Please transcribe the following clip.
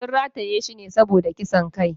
Sun rataye shi ne saboda kisan kai.